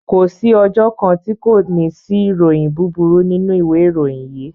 Ko sí ọjọ́ kan tí kò ní sí ìròyìn búburú nínú ìwé ìròyìn yìí